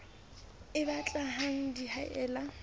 e batle hang di haella